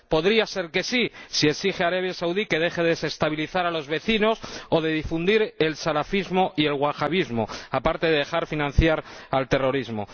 podría ser que sí, si exige a Arabia Saudí que deje de desestabilizar a los vecinos o de difundir el salafismo y el wahabismo aparte de dejar de financiar el terrorismo